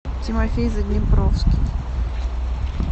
тимофей заднепровский